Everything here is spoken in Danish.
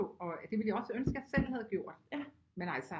Og det ville jeg også ønske jeg selv havde gjort men altså